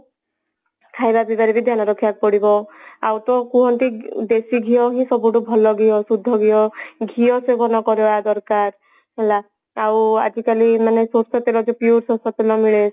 ଖାଇବା ପିଇବା ରେ ବି ଧ୍ୟାନ ରଖିବାକୁ ପଡିବ ଆଉ ତ କୁହନ୍ତି ଦେଶୀ ଘିଅ ହିଁ ସବୁଠୁ ଭଲ ଘିଅ ଶୁଦ୍ଧ ଘିଅ ଘିଅ ସେବନ କରିବା ଦରକାର ହେଲା ଆଉ ଆଜିକାଲି ମାନେ ସୋରିଷ ତେଲ ମାନେ pure ସୋରିଷ ତେଲ ମିଳେ